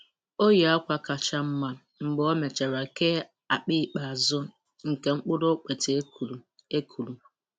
O yi akwa kacha mma mgbe ọ mechara kee akpa ikpeazụ nke mkpụrụ okpete e kụrụ. e kụrụ.